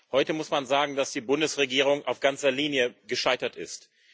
Heute muss man sagen, dass die Bundesregierung auf ganzer Linie gescheitert ist.